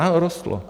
Ano, rostlo.